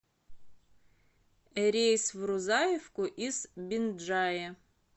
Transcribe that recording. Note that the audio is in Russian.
рейс в рузаевку из бинджая